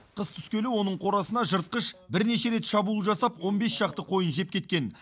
қыс түскелі оның қорасына жыртқыш бірнеше рет шабуыл жасап он бес шақты қойын жеп кеткен